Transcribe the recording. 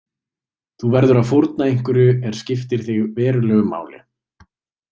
Þú verður að fórna einhverju er skiptir þig verulegu máli.